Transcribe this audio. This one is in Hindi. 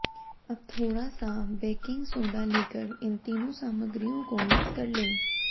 अब थोड़ा सा बेकिंग सोडा लेकर इन तीनों सामग्रियों को मिक्स कर लें